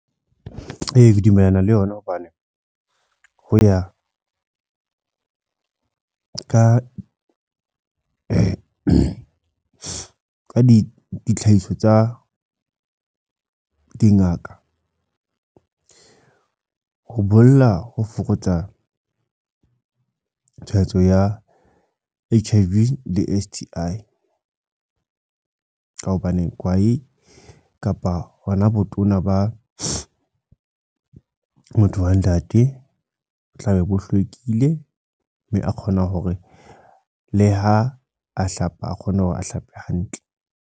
Ee, ke dumellana le yona. Hobane ho ya ka ka di tlhahiso tsa dingaka. Ho bolla ho fokotsa tshwaetso ya H_I_V le S_T_I. Ka hobane kwae kapa hona botona ba motho wa ntate, bo tla be bo hlwekile. Mme a kgona hore le ha a hlapa, a kgone hore a hlape hantle.